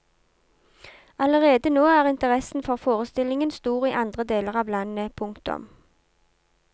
Allerede nå er interessen for forestillingen stor i andre deler av landet. punktum